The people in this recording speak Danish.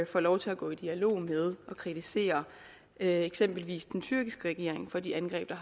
får lov til at gå i dialog med og kritisere eksempelvis den tyrkiske regering for de angreb der